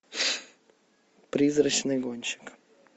призрачный гонщик